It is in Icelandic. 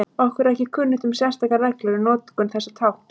Okkur er ekki kunnugt um sérstakar reglur um notkun þessa tákns.